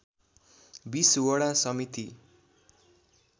२० वडा समिति